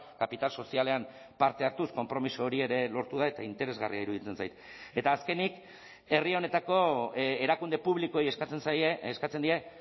kapital sozialean parte hartuz konpromiso hori ere lortu da eta interesgarria iruditzen zait eta azkenik herri honetako erakunde publikoei eskatzen zaie eskatzen die